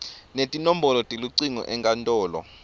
netinombolo telucingo enkantolo